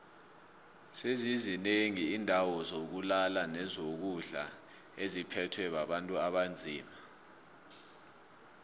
sezizi nengi indawo zokulala nezokudlo etziphethwe bontu abanzima